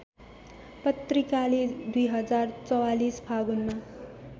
पत्रिकाले २०४४ फागुनमा